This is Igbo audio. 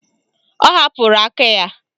Ọ hapụrụ aka ya.